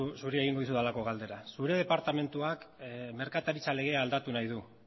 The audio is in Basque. zuri egingo dizudalako galdera zure departamentuak merkataritza legea aldatu nahi du